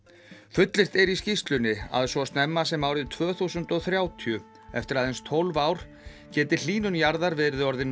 fullyrt er í skýrslunni að svo snemma sem árið tvö þúsund og þrjátíu eftir aðeins tólf ár geti hlýnun jarðar verið orðin